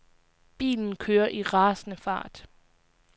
Bilen kører i rasende fart.